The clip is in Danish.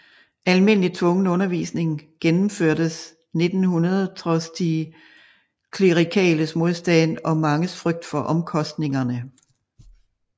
Almindelig tvungen undervisning gennemførtes 1900 trods de klerikales modstand og manges frygt for omkostningerne